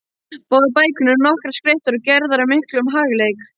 Báðar bækurnar eru nokkuð skreyttar og gerðar af miklum hagleik.